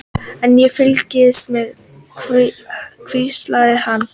Ég fylgist með, hvíslaði hann.